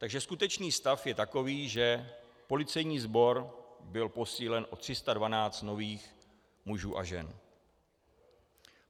Takže skutečný stav je takový, že policejní sbor byl posílen o 312 nových mužů a žen.